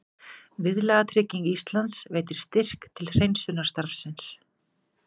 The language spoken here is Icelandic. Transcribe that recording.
Viðlagatrygging Íslands veitir styrk til hreinsunarstarfsins